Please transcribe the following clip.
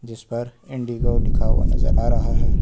इस पर इंडिगो लिखा हुआ नजर आ रहा है।